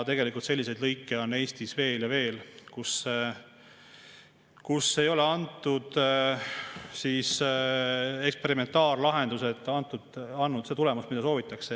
Tegelikult selliseid lõike on Eestis veel ja veel, kus ei ole eksperimentaallahendused andnud tulemust, mida soovitakse.